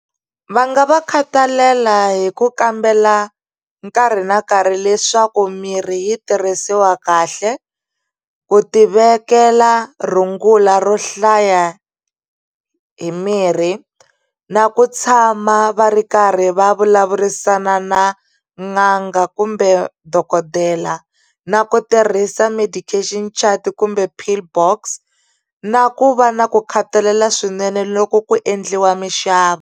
Va nga va khathalela hi ku kambela nkarhi na nkarhi leswaku mirhi yi tirhisiwa kahle ku tivekela rungula ro hlaya hi mirhi na ku tshama va ri karhi va vulavurisana na n'anga kumbe dokodela na ku tirhisa medication chart kumbe pillbox na ku va na ku khathalela swinene loko ku endliwa mixavo.